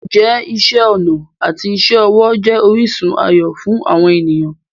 Ǹjẹ́ iṣẹ́ ọnà àti iṣẹ́ ọwọ́ jẹ́ orísun ayọ̀ fún àwọn ènìyàn?